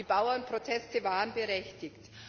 Die Bauernproteste waren berechtigt.